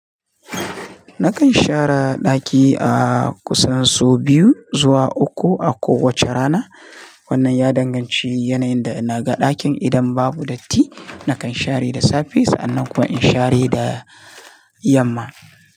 Nakan share ɗaki a kusan sau biyu zuwa uku a kowace rana. Wannan ya danganci yanayin da naga ɗakin. Idan babu datti nakan share da safe sannan kuma in share da yamma.